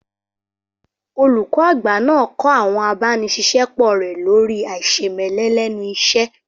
Olùkọ́ àgbà náà kọ́ àwọn abániṣiṣẹ́pọ̀ rẹ lórii àìṣemẹ́lẹ́ lẹ́nu iṣẹ́